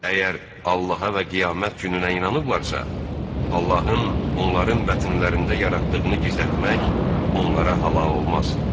Əgər Allaha və qiyamət gününə inanıblarsa, Allahın onların bətnlərində yaratdığını gizlətmək onlara halal olmaz.